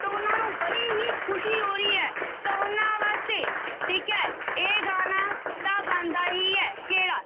ਤਾਂ ਉਹਨਾਂ ਨੂੰ ਬੜੀ ਹੀ ਖ਼ੁਸ਼ੀ ਹੋ ਰਹੀ ਹੈ ਤਾਂ ਉਹਨਾਂ ਵਾਸਤੇ ਠੀਕ ਹੈ ਇਹ ਗਾਣਾ ਤਾਂ ਬਣਦਾ ਹੀ ਹੈ ਕਿਹੜਾ